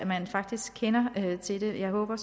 man faktisk kender til dem jeg håber